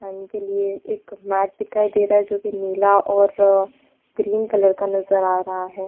खाने के लिए एक मैप दिखाई दे रहा है जो की नीला और ग्रीन कलर का नजर आ रहा है।